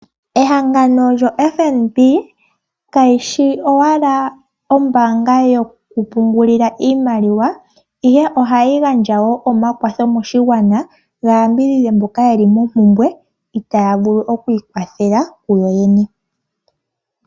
Ehangano lyoFnb kayishi owala ombaanga yo kupungulila iimaliwa, ihe ohayi gandja wo omakwatho moshigwana ga yambidhidhe mboka yeli mompumbwe itaya vulu oku ikwathela kuyoyene.